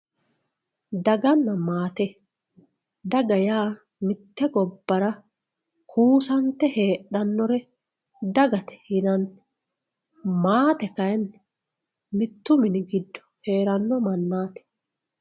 Daganna maate, daga mite gobbara kusate heedhanore dagate yinanni ,maate kayinni mitu mini giddo heerano mannati.